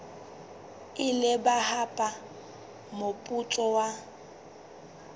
ile ba hapa moputso wa